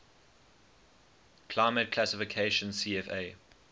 climate classification cfa